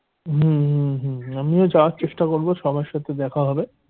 হম হম হম আমিও যাবার চেষ্টা করব সবার সাথে দেখা হবে।